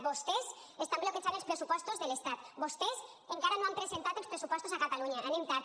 vostès estan bloquejant els pressupostos de l’estat vostès encara no han presentat els pressupostos a catalunya anem tard